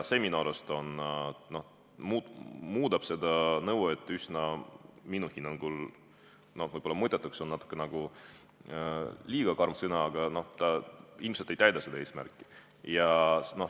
See muudab selle nõude minu hinnangul üsna mõttetuks, kuigi "mõttetu" on võib-olla natuke liiga karm sõna, aga ta ilmselt ei täida seda eesmärki.